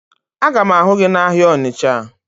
Aga m ahụ gị n'ahịa Ọnịcha